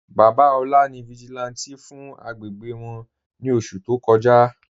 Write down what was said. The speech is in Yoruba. Baba Ola ni vigílántè fún àgbégbé wọn ni oṣù tó kọ́jà..